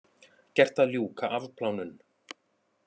Gert að ljúka afplánun